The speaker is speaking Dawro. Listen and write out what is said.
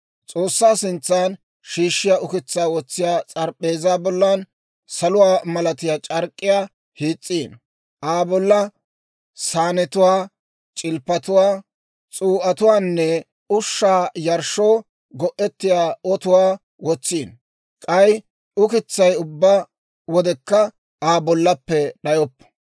«S'oossaa sintsa shiishshiyaa ukitsaa wotsiyaa s'arap'p'eezaa bollan saluwaa malatiyaa c'ark'k'iyaa hiis's'ino; Aa bolla saanetuwaa, c'ilppatuwaa, s'uu'atuwaanne ushshaa yarshshoo go'ettiyaa ototuwaa wotsino; k'ay ukitsay ubbaa wodekka Aa bollappe d'ayoppo.